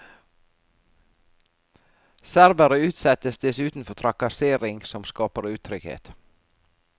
Serbere utsettes dessuten for trakassering som skaper utrygghet.